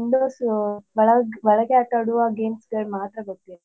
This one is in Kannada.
indoors ಒಳಗ್ ಒಳಗೆ ಆಟಾಡುವ gamesಗಳ್ ಮಾತ್ರ ಗೊತ್ತಿರ್ .